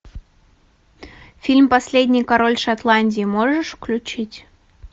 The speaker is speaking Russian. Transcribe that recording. фильм последний король шотландии можешь включить